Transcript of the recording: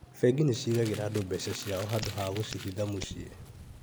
Bengi niciigagĩra andũ mbeca ciao handũ ha gũciĩhitha mũciĩ